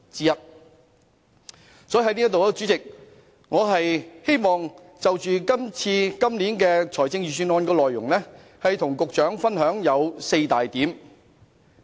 因此，我希望就今年預算案的內容，跟司局長分享4點。